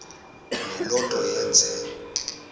le nto yenze